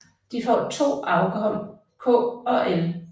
De får to afkom k og l